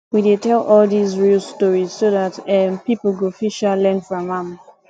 we dey tell all these real stories so dat um people go fit um learn from am